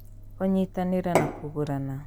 Kũnyitanĩra na kũgũrana: